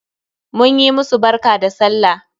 Mun yi musu barka da sallah